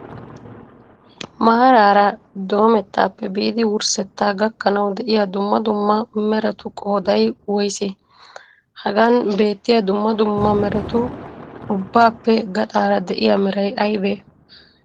Maaraara domettaappe biidi wurssetta gakkanawu de"iya dumma dumma meratu qooday woysee? Hagan beettiya dumma dumma meratu ubbappe gaxaara de'iyaa meray aybee?